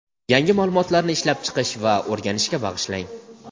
yangi ma’lumotlarni ishlab chiqish va o‘rganishga bag‘ishlang.